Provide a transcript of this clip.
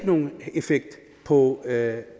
nogen effekt på at